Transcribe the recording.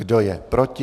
Kdo je proti?